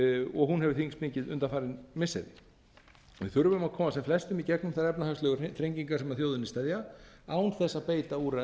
og hún hefur þyngst mikið undanfarin missiri við þurfum að koma sem flestum í gegnum þær efnahagslegu þrengingar sem að þjóðinni steðja án þess að beita úrræðum